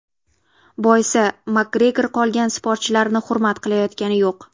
Boisi MakGregor qolgan sportchilarni hurmat qilayotgani yo‘q.